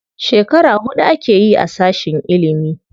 Shekara huɗu akeyi a sashin ilimi.